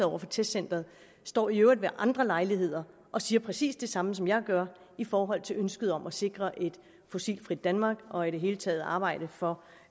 over for testcenteret står i øvrigt ved andre lejligheder og siger præcis det samme som jeg gør i forhold til ønsket om at sikre et fossilfrit danmark og i det hele taget arbejde for